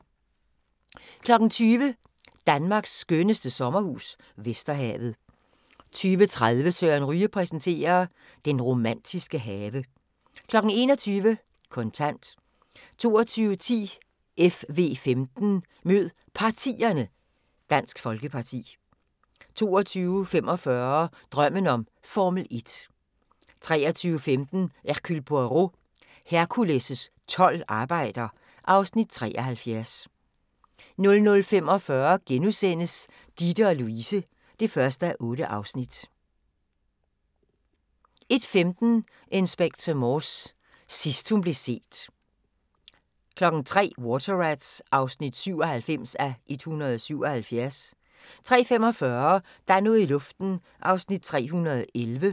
20:00: Danmarks skønneste sommerhus - Vesterhavet 20:30: Søren Ryge præsenterer: Den romantiske have 21:00: Kontant 22:10: FV15: Mød Partierne: Dansk Folkeparti 22:45: Drømmen om Formel 1 23:15: Hercule Poirot: Hercules' tolv arbejder (Afs. 73) 00:45: Ditte & Louise (1:8)* 01:15: Inspector Morse: Sidst hun blev set 03:00: Water Rats (97:177) 03:45: Der er noget i luften (311:320)